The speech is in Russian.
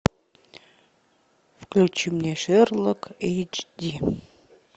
включи мне шерлок эйч ди